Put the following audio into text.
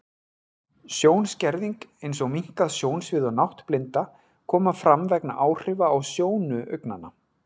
Sjónskerðing, eins og minnkað sjónsvið og náttblinda, koma fram vegna áhrifa á sjónu augnanna.